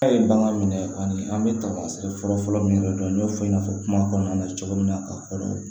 A ye bagan minɛ kɔni an bɛ taamaseere fɔlɔ-fɔlɔ min yɛrɛ dɔn n y'o fɔ i n'a fɔ kuma kɔnɔna na cogo min na ka kɔrɔ